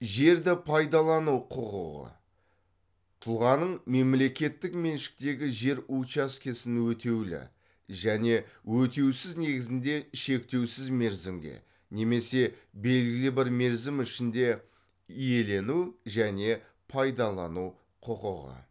жерді пайдалану құқығы тұлғаның мемлекеттік меншіктегі жер учаскесін өтеулі және өтеусіз негізінде шектеусіз мерзімге немесе белгілі бір мерзім ішінде иелену және пайдалану құқығы